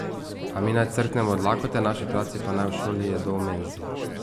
A mi naj crknemo od lakote, naši otroci pa naj v šoli jedo v menzi?